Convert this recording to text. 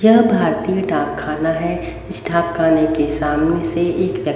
यह भारतीय डाकखाना है इस डाकखाने के सामने से एक--